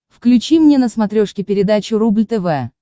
включи мне на смотрешке передачу рубль тв